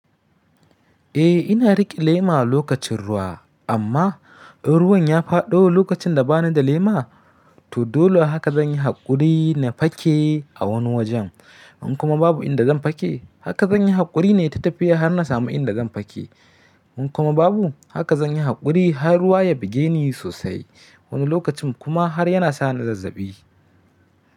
Eh ina riƙe lema lokacin ruwa amma in ruwan ya faɗo lokacin da bani da lema to dole haka zan yi haƙuri na fake a wani wajen. In kuma babu inda zan fake haka zan yi haƙuri ne ta tafiya har na samu inda zan fake. In kuma babu haka zan yi haƙuri har ruwa ya buge ni sosai. Wani lokacin kuma har yana sa ni zazzabi.